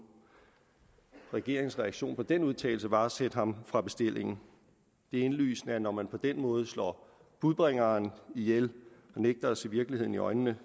regeringens reaktion på den udtalelse var at sætte ham fra bestillingen det er indlysende at når man på den måde slår budbringeren ihjel og nægter at se virkeligheden i øjnene